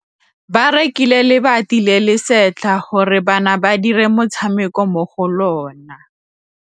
Ba rekile lebati le le setlha gore bana ba dire motshameko mo go lona.